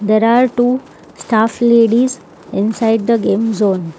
There are two staff ladies inside the game zone.